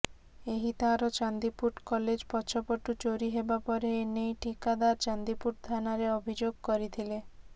ଏହି ତାର ଚାନ୍ଦିପୁଟ କଲେଜ ପଛପଟୁ ଚୋରି ହେବା ପରେ ଏନେଇ ଠିକାଦର ଚାନ୍ଦିପୁଟ ଥାନାରେ ଅଭିଯୋଗ କରିଥିଲେ